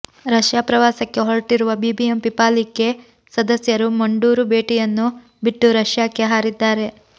Russia ಪ್ರವಾಸಕ್ಕೆ ಹೊರಟಿರುವ BBMP ಪಾಲಿಕೆ ಸದಸ್ಯರು ಮಂಡೂರು ಭೇಟಿಯನ್ನು ಬಿಟ್ಟು ರಷ್ಯಾಕ್ಕೆ ಹಾರಿದ್ದಾರೆ